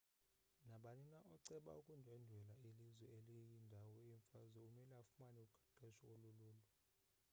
nabani na oceba ukundwendwela ilizwe eliyindawo yemfazwe umele afumane uqeqesho olululo